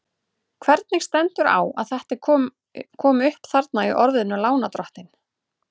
Hvernig stendur þá á að þetta er komi upp þarna í orðinu lánardrottinn?